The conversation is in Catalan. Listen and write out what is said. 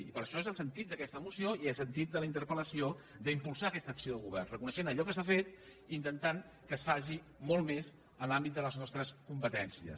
i per això és el sentit d’aquesta moció i el sentit de la interpelsar aquesta acció de govern reconeixent allò que s’ha fet i intentant que es faci molt més en l’àmbit de les nostres competències